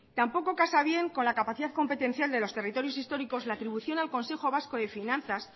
tampoco casa bien con la capacidad competencial de los territorios históricos la atribución al consejo vasco de finanzas